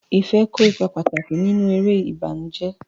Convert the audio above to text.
Ife kó ipa pàtàkì nínú eré ìbànújẹ́.